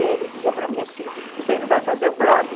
E ele dizia para mim assim, você não vai fazer um blog?